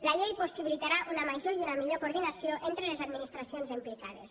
la llei possibilitarà una major i una millor coordinació entre les administracions implicades